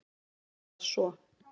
Hvað svo.